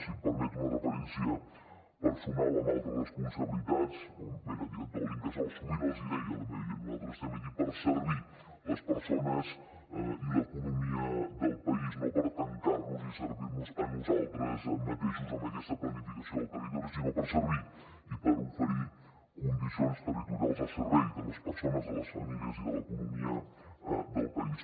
si em permet una referència personal amb altres responsabilitats quan era director de l’incasòl sovint els deia a la meva gent nosaltres estem aquí per servir les persones i l’economia del país no per tancar nos i servir nos a nosaltres mateixos amb aquesta planificació del territori sinó per servir i per oferir condicions territorials al servei de les persones de les famílies i de l’economia del país